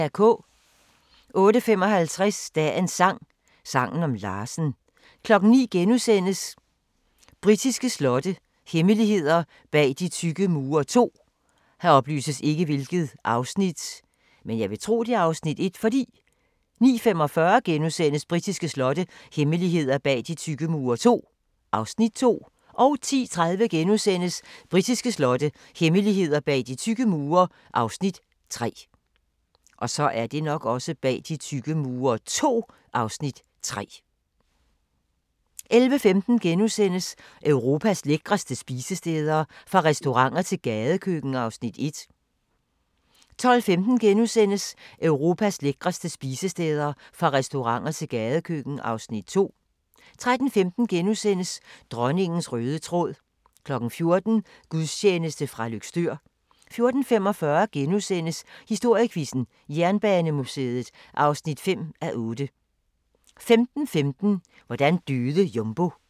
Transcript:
08:55: Dagens sang: Sangen om Larsen 09:00: Britiske slotte – hemmeligheder bag de tykke mure II * 09:45: Britiske slotte – hemmeligheder bag de tykke mure II (Afs. 2)* 10:30: Britiske slotte – hemmeligheder bag de tykke mure (Afs. 3)* 11:15: Europas lækreste spisesteder – fra restauranter til gadekøkken (Afs. 1)* 12:15: Europas lækreste spisesteder – fra restauranter til gadekøkken (Afs. 2)* 13:15: Dronningens røde tråd * 14:00: Gudstjeneste fra Løgstør 14:45: Historiequizzen: Jernbanemuseet (5:8)* 15:15: Hvordan døde Jumbo?